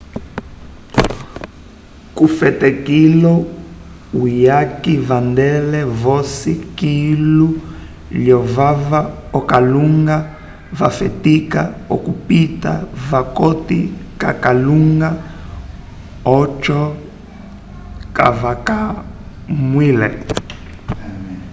kufetikilo uyaki vandele vosi kilu lyovava akalunga vafetika okupita vokati kakalunga ocho kavakamwile